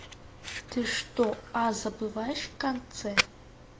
ты что а забываешь в конце